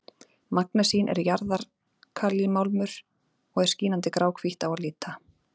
magnesín er jarðalkalímálmur og er skínandi gráhvítt á að líta